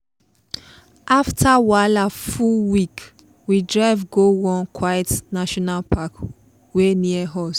afta wahala full week we drive go one quiet national park wey near us.